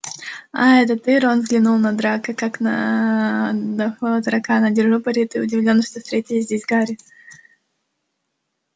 аа это ты рон взглянул на драко как на аа дохлого таракана держу пари ты удивлён что встретил здесь гарри